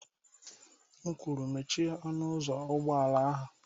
M kwuru, mechie ọnụ ụzọ ụgbọ ala ahụ!